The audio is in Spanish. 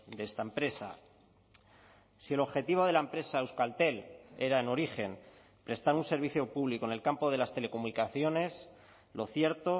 de esta empresa si el objetivo de la empresa euskaltel era en origen prestar un servicio público en el campo de las telecomunicaciones lo cierto